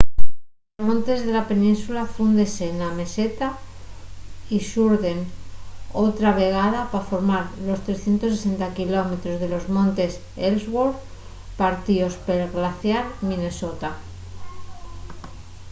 los montes de la península fúndense na meseta y surden otra vegada pa formar los 360km de los montes ellsworth partíos pel glaciar minnesota